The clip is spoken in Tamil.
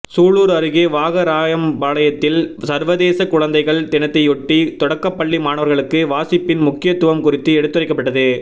சூலூா் அருகே வாகராயம்பாளையத்தில் சா்வதேச குழந்தைகள் தினத்தைஒட்டி தொடக்கப் பள்ளி மாணவா்களுக்கு வாசிப்பின் முக்கியத்துவம் குறித்து எடுத்துரைக்கப்பட்டது